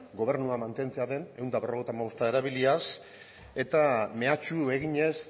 gobernua mantentzea den ehun eta berrogeita hamabosta erabiliaz eta mehatxu eginez